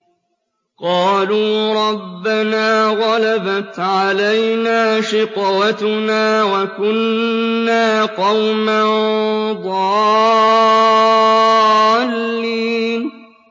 قَالُوا رَبَّنَا غَلَبَتْ عَلَيْنَا شِقْوَتُنَا وَكُنَّا قَوْمًا ضَالِّينَ